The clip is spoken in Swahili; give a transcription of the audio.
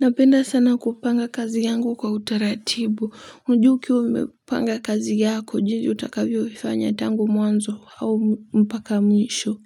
Napenda sana kupanga kazi yangu kwa utaratibu. Ujue ukiwa umepanga kazi yako ujue utakavyoifanya tangu mwanzo au mpaka mwisho.